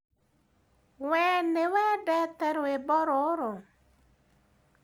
Wee nĩwendete rwĩmbo rũrũ?